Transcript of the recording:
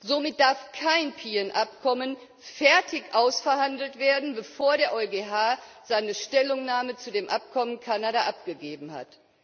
Somit darf kein PNR Abkommen fertig ausverhandelt werden, bevor der EuGH seine Stellungnahme zu dem Abkommen EU Kanada abgegeben hat.